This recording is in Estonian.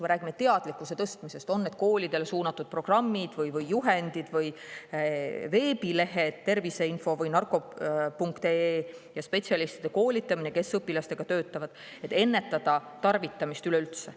Me räägime teadlikkuse tõstmisest – on need koolidele suunatud programmid või juhendid või veebilehed, terviseinfo või narkopunkt.ee ja spetsialistide koolitamine, kes õpilastega töötavad, et ennetada tarvitamist üleüldse.